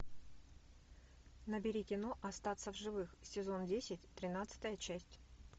набери кино остаться в живых сезон десять тринадцатая часть